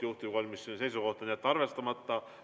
Juhtivkomisjoni seisukoht: jätta arvestamata.